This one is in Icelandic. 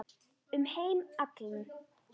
Um heim allan.